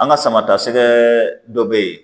An ka sama ta sɛgɛ dɔ be yen